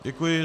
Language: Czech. Děkuji.